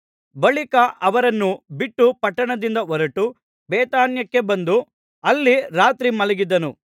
ಬಳಿಕ ಅವರನ್ನು ಬಿಟ್ಟು ಪಟ್ಟಣದಿಂದ ಹೊರಟು ಬೇಥಾನ್ಯಕ್ಕೆ ಬಂದು ಅಲ್ಲಿ ರಾತ್ರಿ ಮಲಗಿದನು